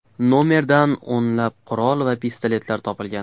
Nomerdan o‘nlab qurol va pistoletlar topilgan.